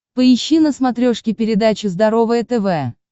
поищи на смотрешке передачу здоровое тв